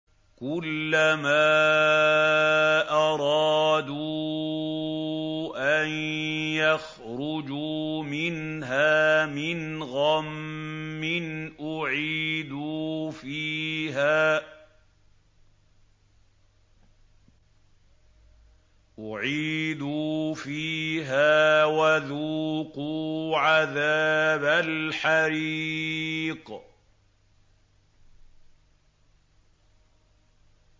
كُلَّمَا أَرَادُوا أَن يَخْرُجُوا مِنْهَا مِنْ غَمٍّ أُعِيدُوا فِيهَا وَذُوقُوا عَذَابَ الْحَرِيقِ